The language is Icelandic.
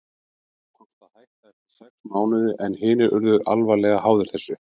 Mér tókst að hætta eftir sex mánuði en hinir urðu alvarlega háðir þessu.